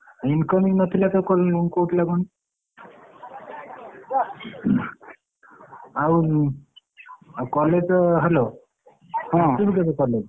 Incoming ନଥିଲା କୋଉଥିଲା କଣ? ଆଉ ଆଉ college ତ hello । ହଁ ଆସିବୁ କେବେ college ?